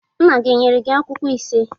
Nna gị ọ nyere akwụkwọ ise?